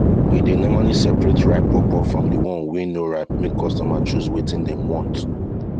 we dey normally separate ripe pawpaw from the one wey no ripe make customer choose wetin dem want